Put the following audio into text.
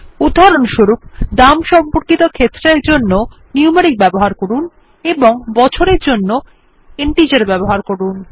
উদাহরণস্বরূপ দাম সম্পর্কিত ক্ষেত্রের জন্যে নিউমেরিক ব্যবহার করুন এবং বছরের জন্যে ইন্টিজার ব্যবহার করুন